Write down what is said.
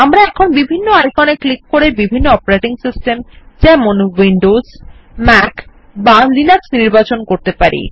আমরা এখন বিভন্ন আইকন এ ক্লিক করে বিভিন্ন অপারেটিং সিস্টেম যেমন উইন্ডোজ ম্যাক বা লিনাক্স নির্বাচন করতে পারি